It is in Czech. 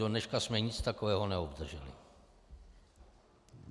Dodneška jsme nic takového neobdrželi.